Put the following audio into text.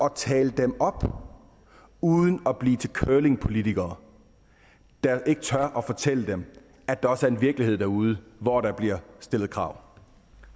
at tale dem op uden at blive til curlingpolitikere der ikke tør fortælle dem at der også er en virkelighed derude hvor der bliver stillet krav